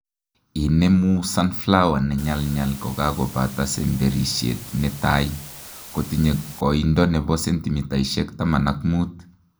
Inemu sunflower ne nyalnyal kokakobata semberisiet netai kotinye koindo nebo sentimitaishek taman ak muut